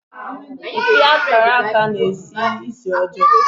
Mkpi karaka na-esi ísì ọjọọ.